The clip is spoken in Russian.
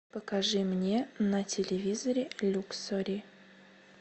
покажи мне на телевизоре люксори